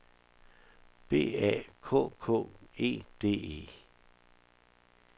B A K K E D E